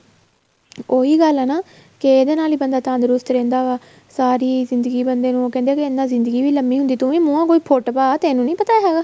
ਉਹੀ ਗੱਲ ਹੈ ਨਾ ਕੇ ਇਹਦੇ ਨਾਲ ਹੀ ਬੰਦਾ ਤੰਦਰੁਸਤ ਰਹਿੰਦਾ ਵਾ ਸਾਰੀ ਜ਼ਿੰਦਗੀ ਬੰਦੇ ਨੂੰ ਉਹ ਕਹਿੰਦੇ ਇਹਦੇ ਨਾਲ ਜ਼ਿੰਦਗੀ ਵੀ ਲੰਬੀ ਹੁੰਦੀ ਆ ਤੂੰ ਵੀ ਮੂੰਹੋ ਕੁੱਛ ਫੁੱਟ ਪਾ ਤੈਨੂੰ ਨਹੀਂ ਪਤਾ ਹੈਗਾ